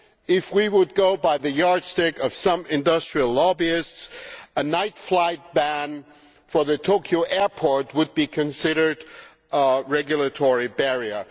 If we were to go by the yardstick of some industrial lobbyists, a night flight ban for Tokyo airport would be considered a regulatory barrier.